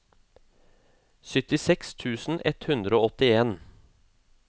syttiseks tusen ett hundre og åttien